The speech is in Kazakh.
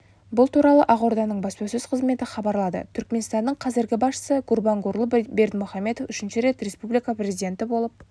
бұл туралы ақорданың баспасөз қызметі хабарлады түркіменстанның қазіргі басшысы гурбангулы бердімұхамедов үшінші рет республика президенті болып